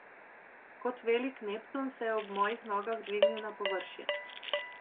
Kot velik Neptun se je ob mojih nogah dvignil na površje.